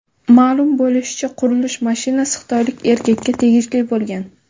Ma’lum bo‘lishicha, qurilish mashinasi xitoylik erkakka tegishli bo‘lgan.